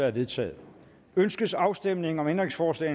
er vedtaget ønskes afstemning om ændringsforslag